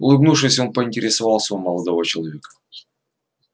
улыбнувшись он поинтересовался у молодого человека